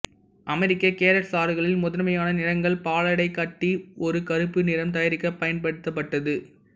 America carrot சாறுகளில் முதன்மையான நிறங்கள் பாலாடைக்கட்டி ஒரு கறுப்பு நிறம் தயாரிக்க பயன்படுத்தப்பட்டது